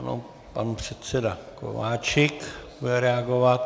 Ano, pan předseda Kováčik bude reagovat.